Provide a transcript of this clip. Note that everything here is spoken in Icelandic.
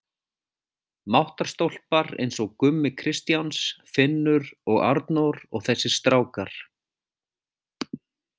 Máttarstólpar eins og Gummi Kristjáns, Finnur og Arnór og þessir strákar.